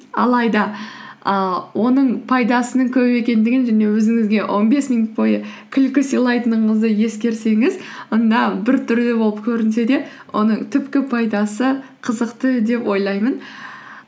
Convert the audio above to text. алайда ііі оның пайдасының көп екендігін және өзіңізге он бес минут бойы күлкі сыйлайтыныңызды ескерсеңіз онда біртүрлі болып көрінсе де оның түпкі пайдасы қызықты деп ойлаймын